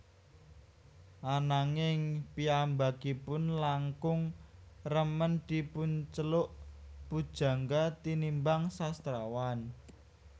Ananging piyambakipun langkung remen dipunceluk pujangga tinimbang sastrawan